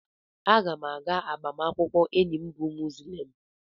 Aga m aga agbamakwụkwọ enyi m bụ onye Muzlem.